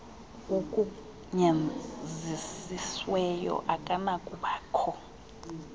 ugunyazisiweyo akanakuba kho